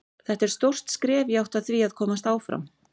Þetta er stórt skref í átt að því að komast áfram.